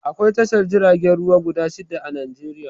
Akwai tashar jiragen ruwa guda shidda a Najeriya